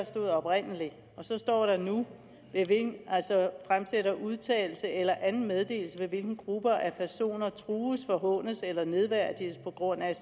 stod oprindelig og så står der nu fremsætte udtalelse eller anden meddelelse ved hvilken grupper af personer trues forhånes eller nedværdiges på grund af